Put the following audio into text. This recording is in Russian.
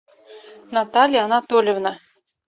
наталья анатольевна